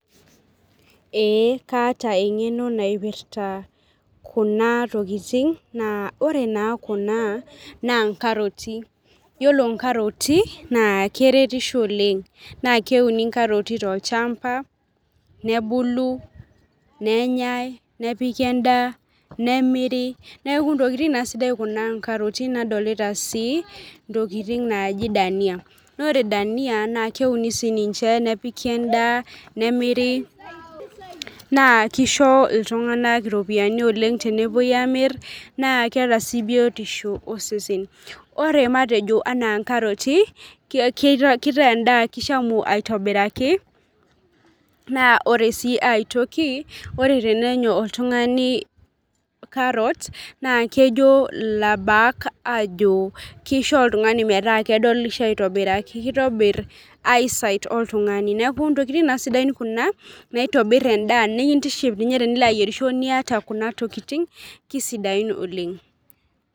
Ee kaata engeno naipirta, Kuna tokitin, naa ore naa Kuna naa nkaroti, iyiolo nkaroti naa keretisho oleng, naa keuni nkaroti, tolchampa, nebulu nenyae, nepiki edaa, nemiri, neeku ntokitin naa sidan Kuna nkaroti, nadolita sii ntokitin naaji dania, naa ore danu naa keuni sii ninche nepiki edaa, nemiri, naa kisho iltunganak iropiyiani oleng, tenepuoi aamir, naa keeta sii biotisho, osesen. Ore matejo anaa nkaroti, kitaa edaa kishamurri aitobiraki naa ore sii aitoki, ore tenenya oltungani, carrot naa kejo, ilaasak aajo kisho oltungani metaa kedolisho aitobiraki kitobir oltungani, neeku ntokitin naa sidan Kuna naotobir edaa nikilo aayierisho, niyata Kuna tokitin kisidain oleng.